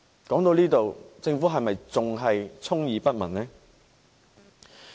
說到這裏，政府是否仍然充耳不聞呢？